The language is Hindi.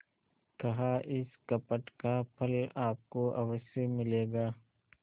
कहाइस कपट का फल आपको अवश्य मिलेगा